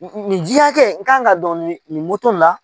Nin ji hakɛ n kan ka dɔn nin la